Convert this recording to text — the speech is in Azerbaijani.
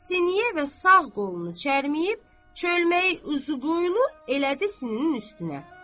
Siniyə və sağ qolunu çərməyib, çölməyi uzuqoylu elədi sininin üstünə.